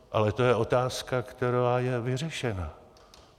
Ale to je otázka, která je vyřešena.